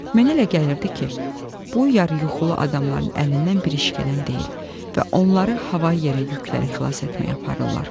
Mənə elə gəlirdi ki, bu yarı yuxulu adamların əlindən bir iş gələn deyil və onları havayı yerə yükləri xilas etməyə aparırlar.